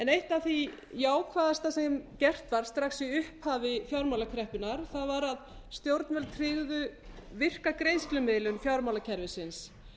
eitt af því jákvæðasta sem gert var strax í upphafi fjármálakreppunnar var að stjórnvöld tryggðu virka greiðslumiðlun fjármálakerfisins